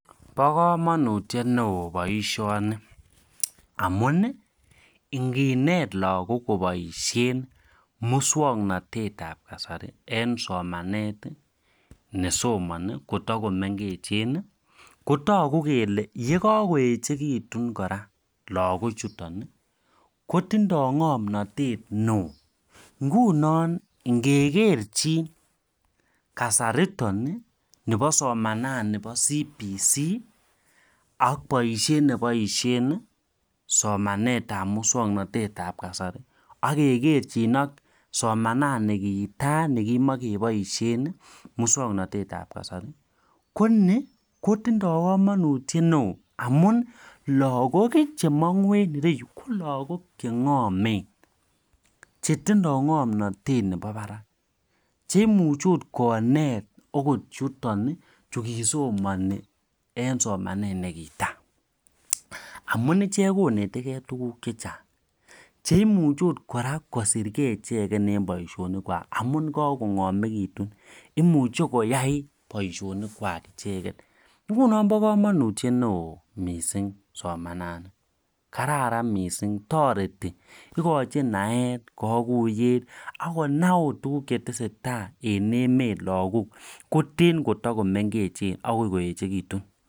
Bo kamanutiet neo boisyoni amun inginet lakok koboishen muswoknotet ab kasari en somanet nesomani kotakomengech kotaku kele yakakoechekitu kora lakochuton kotindoi ngomnatet neo ngunon ngekeerchin soman Nebo muswoknotet ab kasari ak.nebo keny KO ni kotinye kamanutiet neo eng lakok chetinye ng'omnatet neo amun ichek kinet ng'alek chechang mising cheimuchi kosirekei boisyonik icheket akomuch konai tukuk chechang akoi koechekitu